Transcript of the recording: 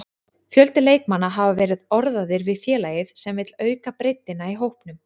Fjöldi leikmanna hafa verið orðaðir við félagið sem vill auka breiddina í hópnum.